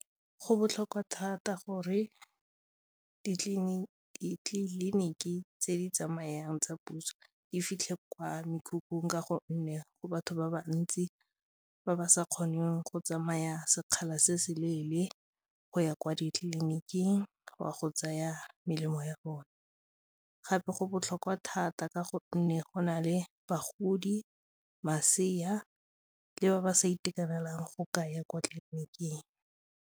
Go botlhokwa thata gore ditleliniki tse di tsamayang tsa puso di fitlhe kwa mekhukhung ka gonne go batho ba bantsi ba ba sa kgoneng go tsamaya sekgala se se leele go ya kwa ditleliniking go a go tsaya melemo ya bone gape go botlhokwa thata ka gonne go na le bagodi, masea le ba ba sa itekanelang go ka ya kwa tleliniking.